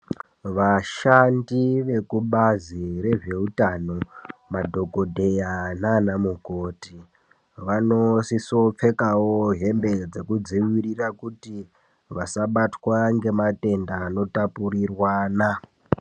Vashandi vekubazi rezveutano madhokoteya nana mukoti vanosisa kupfekawo hembe dzekudzivirira kuti vasabatwa ngematenda anotapuriranwa.